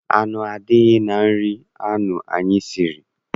Azụ adịghị na nri ahụ anyị siri.